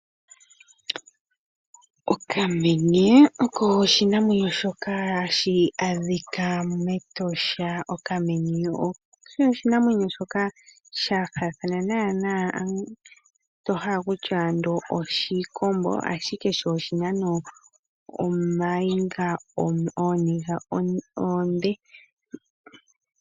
Okamenye oko oshinamwenyo shoka hashi adhika mEtosha National Park. Okamenye oko okanamwenyo muukwatya kafa oshikombo, oshoka ashike sho shina ooniga oonde.